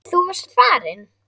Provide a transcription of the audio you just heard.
Þú varst farinn.